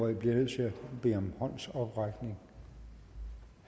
jeg bliver nødt til at bede om en håndsoprækning